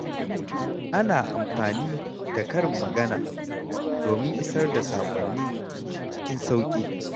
Ana amfani da karin magana domin isar da saƙonni cikin sauƙi.